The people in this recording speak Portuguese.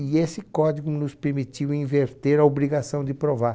E esse código nos permitiu inverter a obrigação de provar.